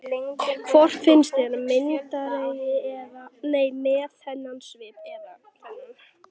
Hvort finnst þér ég myndarlegri með þennan svip eða þennan?